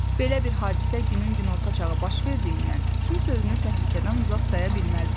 Belə bir hadisə günün günorta çağı baş verdiyindən kimsə özünü təhlükədən uzaq saya bilməzdi.